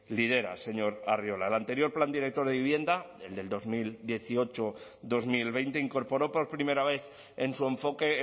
lidera señor arriola el anterior plan director de vivienda el de dos mil dieciocho dos mil veinte incorporó por primera vez en su enfoque